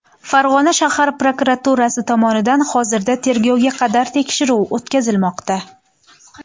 Farg‘ona shahar prokuraturasi tomonidan hozirda tergovga qadar tekshiruv o‘tkazilmoqda.